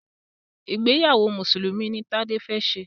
ìgbéyàwó Mùsùlùmí ní Tade fè ṣe.